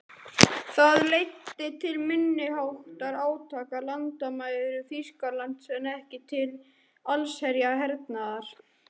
Það leiddi til minniháttar átaka á landamærum Þýskalands en ekki til allsherjar hernaðar.